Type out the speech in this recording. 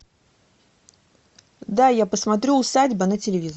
дай я посмотрю усадьба на телевизоре